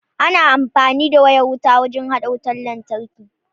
Ana amfani da wayan wuta wurin hada wutan lantarki.